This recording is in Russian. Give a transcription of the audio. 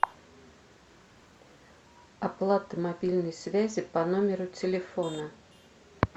оплата мобильной связи по номеру телефона